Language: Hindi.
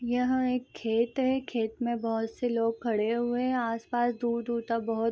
यह एक खेत है खेत में बहोत से लोग खड़े हुए हैं आस-पास दूर-दूर तक बहोत --